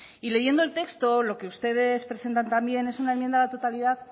y leyendo el texto lo que ustedes presentan también es una enmienda a la totalidad